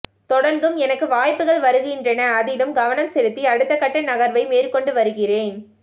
தொடர்ந்தும் எனக்கு வாய்ப்புகள் வருகின்றன அதிலும் கவனம் செலுத்தி அடுத்தகட்ட நகர்வை மேற்கொண்டு வருகிறேன்